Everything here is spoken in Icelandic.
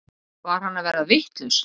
Var hann að verða vitlaus?